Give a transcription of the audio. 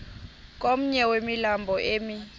komnye wemilambo emi